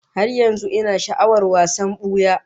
Har yanzu ina sha'awar wasan buya